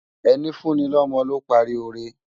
Eni fùni lòmò ló pári óré